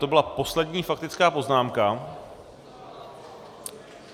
To byla poslední faktická poznámka.